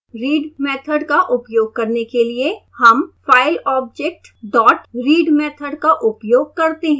read method का उपयोग करने के लिए हम file object dot read method का उपयोग करते हैं